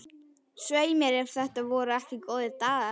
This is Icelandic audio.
Svei mér ef þetta voru ekki góðir dagar.